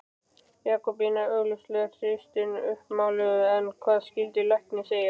Jakobína er augljóslega hreystin uppmáluð en hvað skyldi læknir segja?